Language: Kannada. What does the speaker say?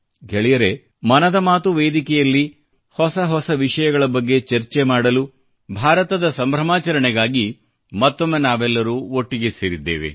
ಗೆಳೆಯರೇ ಮನದ ಮಾತು ವೇದಿಕೆಯಲ್ಲಿ ಹೊಸ ಹೊಸ ವಿಷಯಗಳ ಬಗ್ಗೆ ಚರ್ಚೆ ಮಾಡಲು ಮತ್ತು ಭಾರತವನ್ನು ವಿಜೃಂಭಿಸಲು ಮತ್ತೊಮ್ಮೆ ನಾವೆಲ್ಲರೂ ಒಟ್ಟಿಗೆ ಸೇರಿದ್ದೇವೆ